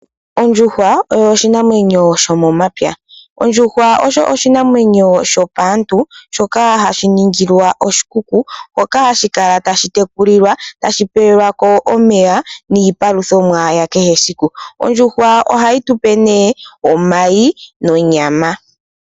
Ondjuhwa oshinanwenyo sho momapya nopaantu shoka hashi ningilwa oshikuku hoka hashi tekulilwa nokupeya omeya niipalutha ya kehe esiku. Ohayi tupe omayi nonyama.